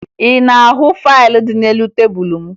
Ị na-ahụ faịlụ dị n'elu tebulu m?